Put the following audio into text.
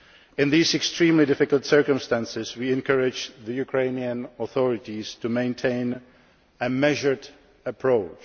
In these extremely difficult circumstances, we encourage the Ukrainian authorities to maintain a measured approach.